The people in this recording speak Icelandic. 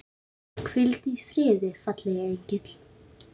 Hvíldu í friði, fagri engill.